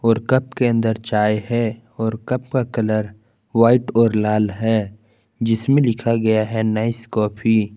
और कप के अंदर चाय है और कप का कलर वाइट और लाल है जिसमें लिखा गया है नाइस कॉफी।